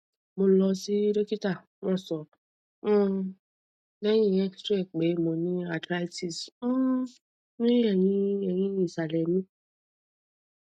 mo lọ si dokita wọn sọ um lẹhin xray pe mo ni arthritis um ni ẹhin ẹhin isalẹ mi